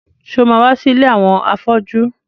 Ṣé o ma wá sí ilé àwọn afọ́jú?